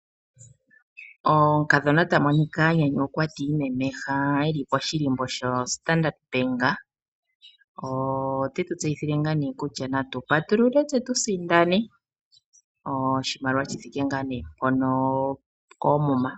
Omukadhona ta monika a nyanyukwa e li poshilimbo shaStandard Bank. Ote tu ulukile kutya natu patulule tse tu sindane oshimaliwa shi thike mpono koomuma.